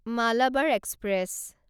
Malabar express